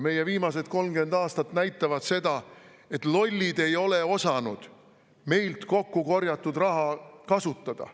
Meie viimased 30 aastat näitavad seda, et lollid ei ole osanud meilt kokku korjatud raha kasutada.